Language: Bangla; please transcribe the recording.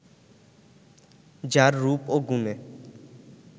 যার রূপ ও গুণে